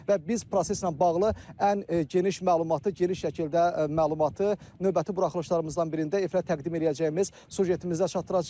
Və biz proseslə bağlı ən geniş məlumatı, geniş şəkildə məlumatı növbəti buraxılışlarımızdan birində efirə təqdim eləyəcəyimiz süjetimizdə çatdıracağıq.